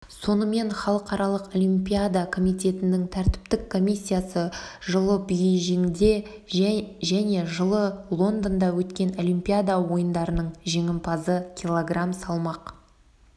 сонымен халықаралық олимпиадакомитетінің тәртіптік комиссиясы жылы бейжіңде және жылы лондонда өткен олимпиада ойындарының жеңімпазы кг салмақ